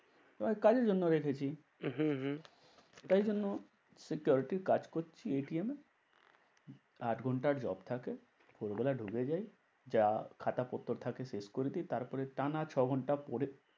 তোমাকে কাজের জন্য রেখেছি। হম হম তাই জন্য security র কাজ করছি এ। আট ঘন্টার job থাকে। ভোর বেলা ঢুকে যাই। যা খাতাপত্র থাকে শেষ করে দিই। তারপরে টানা ছ ঘন্টা পরে